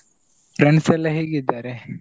Friends ಎಲ್ಲಾ ಹೇಗಿದ್ದಾರೆ?